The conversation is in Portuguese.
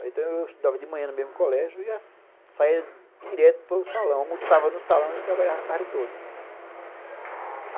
Então eu estudava de manhã no mesmo colégio e saia direto para o salão, almoçava no salão e trabalhava a tarde toda.